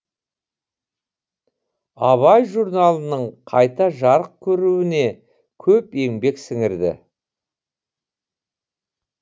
абай журналының қайта жарық көруіне көп еңбек сіңірді